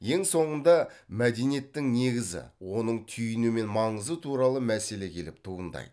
ең соңында мәдениеттің негізі оның түйіні мен маңызы туралы мәселе келіп туындайды